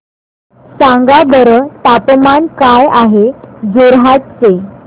सांगा बरं तापमान काय आहे जोरहाट चे